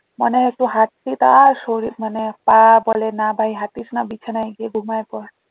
মানে একটু হাঁটছি শরীর মানে পা বলে না ভাই হাঁটিস না বিছানায় গিয়ে ঘুমায় পর